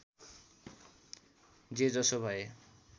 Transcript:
जे जसो भए